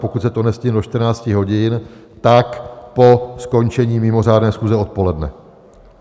Pokud se to nestihne do 14 hodin, tak po skončení mimořádné schůze odpoledne.